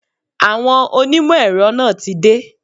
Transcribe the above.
Àwọn onímọ̀ èrọ náà tí dé.